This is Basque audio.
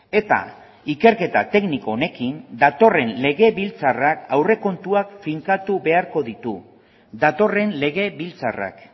eta ikerketa tekniko honekin datorren legebiltzarrak aurrekontuak finkatu beharko ditu datorren legebiltzarrak